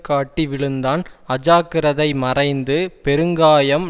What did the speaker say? காட்டி விழுந்தான் அஜாக்கிரதை மறைந்து பெருங்காயம்